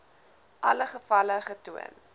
alle gevalle getoon